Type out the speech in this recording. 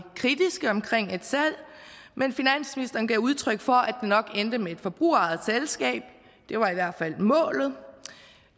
kritiske omkring et salg men finansministeren gav udtryk for at det nok endte med et forbrugerejet selskabet det var i hvert fald målet